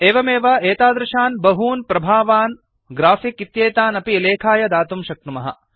एवमेव एतादृशान् बहून् प्रभावान् ग्राफिक् इत्येतान् अपि लेखाय दातुं शक्नुमः